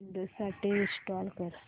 Windows साठी install कर